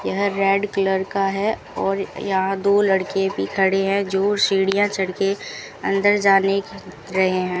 यह red colour का है और यहां दो लड़के भी खड़े है जो सीढ़ियां चढ़ के अंदर जाने की रहे है।